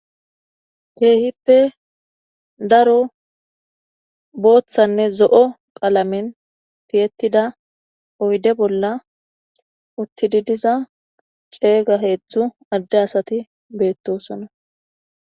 Keehippe daro booththanne zo'o qalamen tiyettida oyde bolla uttidi diza ceega heetzthzu adde asati beettosona.